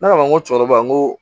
Ne b'a fɔ n ko cɛkɔrɔba n ko